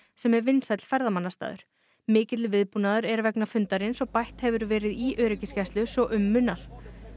sem er vinsæll ferðamannastaður mikill viðbúnaður er vegna fundarins og bætt hefur verið í öryggisgæslu svo um munar